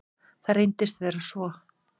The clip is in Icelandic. Það reyndist vera svo.